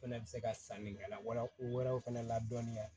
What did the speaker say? Fɛnɛ bɛ se ka sannikɛla wɛrɛw fana ladɔnniya